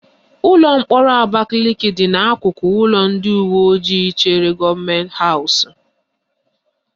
Ụlọ mkpọrọ Abakaliki dị n'akụkụ ụlọ ndị uweojii chere gọọmenti haụs ihu